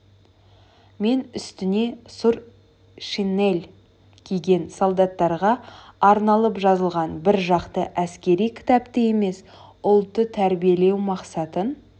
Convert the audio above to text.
мен үстіне сұр шинель киген солдаттарға арналып жазылған бір жақты әскери кітапты емес ұлтты тәрбиелеу мақсатын